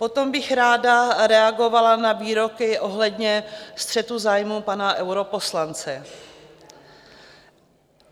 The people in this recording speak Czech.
Potom bych ráda reagovala na výroky ohledně střetu zájmů pana europoslance.